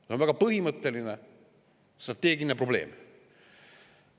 See on väga põhimõtteline strateegiline probleem.